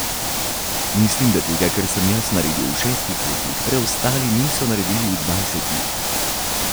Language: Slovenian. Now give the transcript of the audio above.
Mislim, da tega, kar sem jaz naredil v šestih letih, preostali niso naredili v dvajsetih.